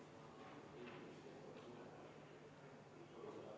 Juhtivkomisjoni seisukoht on jätta arvestamata.